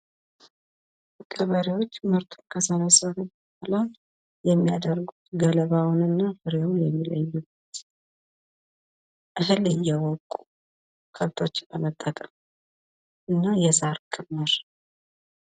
ገበሬዎች ምርት ከሰበሰብን በኋላ የሚያደርጉት ገለባዉን እና ፍሬዉን የሚለዩበት እህል እየወቁ ከብቶችን በመጠቀም እና የሳር ክምር